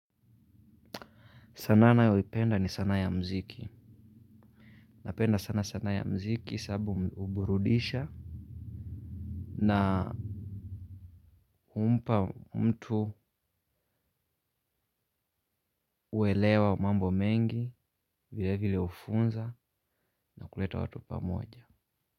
Sana nayo ipenda ni sana ya mziki. Napenda sana sana ya mziki sababu uburudisha. Na umpa mtu uelewa mambo mengi vile vile ufunza na kuleta watu pamoja.